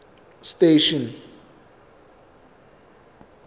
station